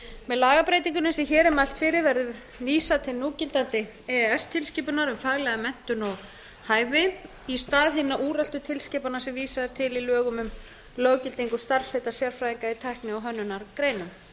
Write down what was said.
með lagabreytingunni sem hér er mælt fyrir verður vísað til núgildandi e e s tilskipunar um faglega menntun og hæfi í stað hinna úreltu tilskipana sem vísað er til í lögum um löggildingu starfsheita sérfræðinga í tækni og hönnunargreinum